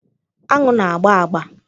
Aṅụ na-agba agba.